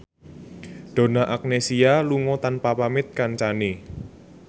Donna Agnesia lunga tanpa pamit kancane